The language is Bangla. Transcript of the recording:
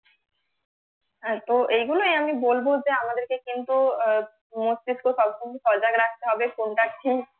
হ্যাঁ তো এইগুলোই আমি বলব যে আমাদেরকে কেন্দ্র করে কিন্তু মস্তিস্ক সবসময় স্যাক রাখতে হবে কোনটা ঠিক